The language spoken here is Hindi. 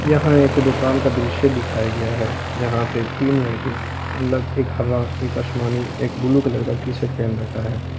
यहां एक दुकान का दृश्य दिखाया गया है जहां पे तीन लड़के अलग एक हरा एक आसमानी एक ब्लू कलर का टी_शर्ट पहन रखा है।